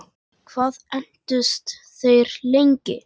Hvað entust þeir lengi?